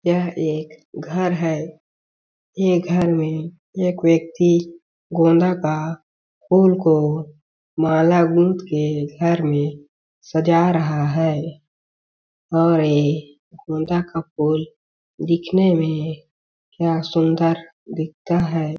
यह एक घर है ये घर में एक व्यक्ति गोंदा का फूल को माला गूँथ के घर में सजा रहा है और ये गोंदा का फूल दिखने में क्या सुन्दर दिखता है।